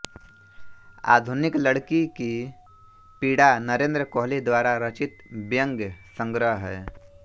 आधुनिक लड़की की पीड़ा नरेन्द्र कोहली द्वारा रचित व्यंग्य संग्रह है